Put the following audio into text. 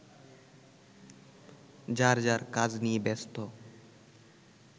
যার যার কাজ নিয়ে ব্যস্ত